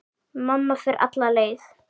Mamma fer alla leið.